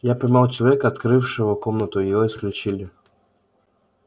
я поймал человека открывшего комнату и его исключили